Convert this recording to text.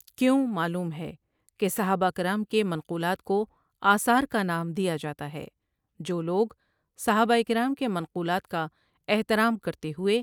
کیوں معلوم ہے کہ صحابہ کرام کے منقولات کو آثار کا نام دیا جاتا ہے جو لوگ صحابہ کرام کے منقولات کا احترام کرتے ہوئے ۔